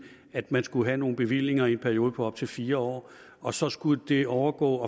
at man skulle have nogle bevillinger i en periode på op til fire år og så skulle det overgå